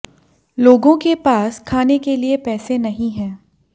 लोगों के पास खाने के लिए पैसे नहीं है